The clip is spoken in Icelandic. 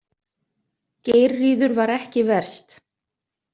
Geirríður var ekki verst.